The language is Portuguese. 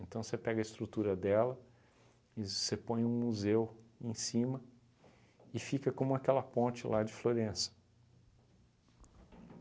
Então você pega a estrutura dela e você põe um museu em cima e fica como aquela ponte lá de Florença.